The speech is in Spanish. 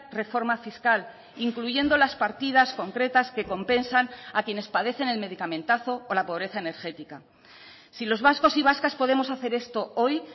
reforma fiscal incluyendo las partidas concretas que compensan a quienes padecen el medicamentazo o la pobreza energética si los vascos y vascas podemos hacer esto hoy